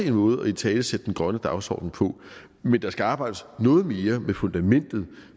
en måde at italesætte den grønne dagsorden på men der skal arbejdes noget mere med fundamentet